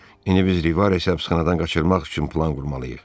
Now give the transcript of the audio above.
İndi biz Rivaresi həbsxanadan qaçırmaq üçün plan qurmalıyıq.